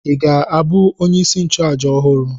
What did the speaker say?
Ị ga-abụ onyeisi nchụàjà ọhụrụ?